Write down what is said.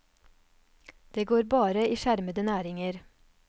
Det går bare i skjermede næringer.